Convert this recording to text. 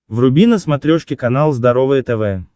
вруби на смотрешке канал здоровое тв